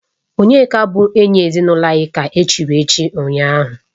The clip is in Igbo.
Onyeka bụ enyi ezinụlọ anyị ka e chiri echichi ụnyahụ